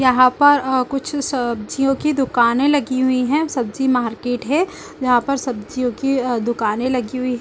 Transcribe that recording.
यहाँ पर कुछ सब्जियों की दुकानें लगी हुई है सब्जी मार्केट है यहाँ पर सब्जियों की दुकानें लगी हुई--